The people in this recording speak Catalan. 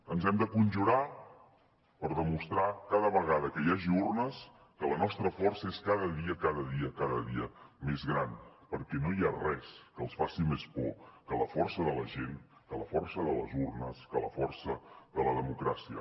ens hem de conjurar per demostrar cada vegada que hi hagi urnes que la nostra força és cada dia cada dia cada dia més gran perquè no hi ha res que els faci més por que la força de la gent que la força de les urnes que la força de la democràcia